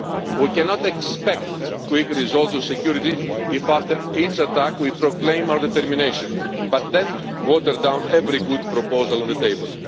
We cannot expect quick results in security if after each attack we proclaim our determination but then water down every good proposal on the table.